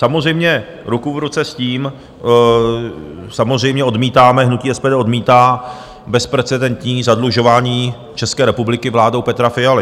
Samozřejmě, ruku v ruce s tím samozřejmě odmítáme, hnutí SPD odmítá, bezprecedentní zadlužování české republiky vládou Petra Fialy.